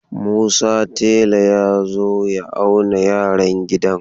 Musa tela ya zo ya auna yaran gidan.